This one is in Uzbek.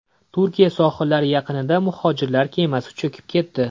Turkiya sohillari yaqinida muhojirlar kemasi cho‘kib ketdi.